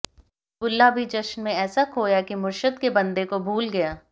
बुल्ला भी जश्न में ऐसा खोया कि मुरशद के बंदे को भूल गया